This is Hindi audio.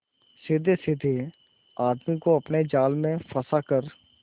सीधेसाधे आदमी को अपने जाल में फंसा कर